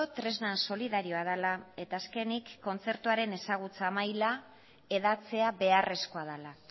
tresna solidarioa dela eta azkenik kontzertuaren ezagutza maila hedatzea beharrezkoa dela